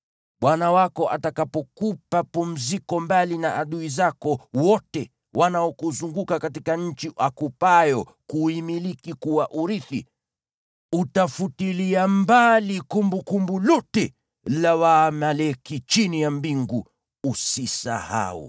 Bwana Mungu wako atakapokupa pumziko mbali na adui zako wote wanaokuzunguka katika nchi akupayo kuimiliki kuwa urithi, utafutilia mbali kumbukumbu lote la Waamaleki chini ya mbingu. Usisahau!